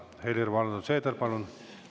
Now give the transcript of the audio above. Helir‑Valdor Seeder, palun!